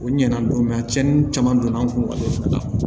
O ɲɛna dɔn a cɛnni caman donna an kun